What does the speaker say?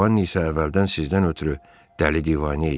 Jovanni isə əvvəldən sizdən ötrü dəli-divanə idi.